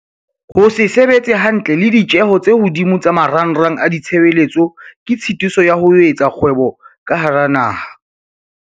Ho se sebetse hantle le ditjeho tse hodimo tsa marangrang a ditshebeletso ke tshitiso ya ho etsa kgwebo ka hara naha.